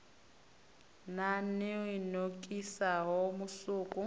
nan o i nokisaho musuku